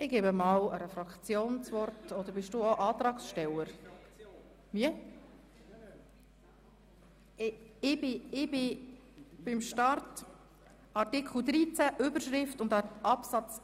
Ich sage nochmals, wo wir sind: Wir sind bei Artikel 13 Absatz 1 und der Überschrift von Artikel 13.